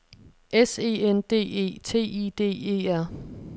S E N D E T I D E R